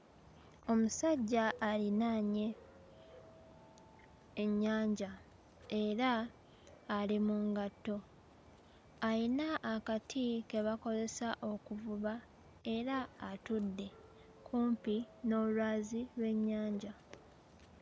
Omusajja alinaanye ennyanja era ali mu ngatto. Ayina akati ke bakolesa okuvuba era atudde kumpi n'olwazi lw'ennyanja.